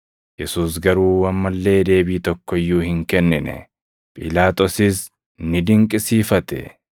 Yesuus garuu amma illee deebii tokko iyyuu hin kennine; Phiilaaxoosis ni dinqisiifate.